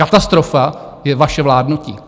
Katastrofa je vaše vládnutí.